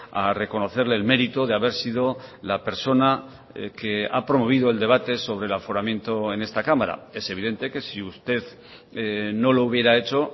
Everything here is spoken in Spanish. a reconocerle el mérito de haber sido la persona que ha promovido el debate sobre el aforamiento en esta cámara es evidente que si usted no lo hubiera hecho